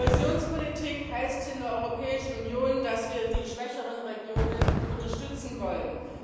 Kohäsionspolitik heißt in der Europäischen Union, dass wir die schwächeren Regionen unterstützen wollen.